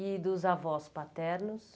E dos avós paternos?